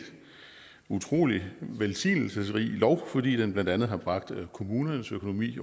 utrolig velsignelsesrig lov fordi den blandt andet har bragt kommunernes økonomi